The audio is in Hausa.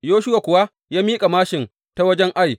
Yoshuwa kuwa ya miƙa māshin ta wajen Ai.